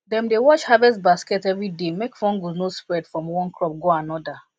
dem dey wash harvest basket every day make fungus no spread from one crop go another